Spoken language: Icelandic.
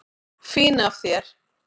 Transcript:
Fín af þér.